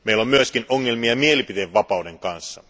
Meillä on myöskin ongelmia mielipiteenvapauden kanssa.